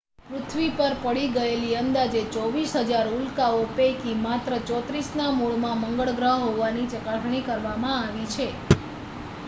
પૃથ્વી પર પડી ગયેલી અંદાજે 24,000 ઉલ્કાઓ પૈકી માત્ર 34ના મૂળમાં મંગળ ગ્રહ હોવાની ચકાસણી કરવામાં આવી છે